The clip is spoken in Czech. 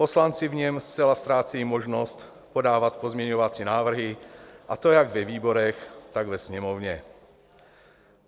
Poslanci v něm zcela ztrácejí možnost podávat pozměňovací návrhy, a to jak ve výborech, tak ve Sněmovně.